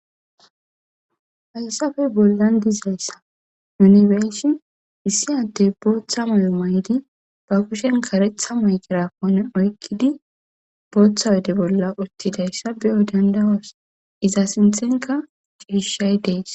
haysafey bollan dizayssa yunibershi issi addey booththa moyo may7di ba kushen karetha mayqirakone oykkidi booththa wode bolla uttidayssa biyo dandawos iza sinthenka cihishshay dees